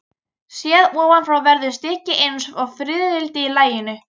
Séð ofan frá verður stykkið eins og fiðrildi í laginu.